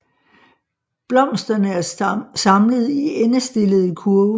Blomsterne er samlet i endestillede kurve